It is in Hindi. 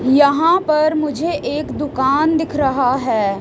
यहां पर मुझे एक दुकान दिख रहा है।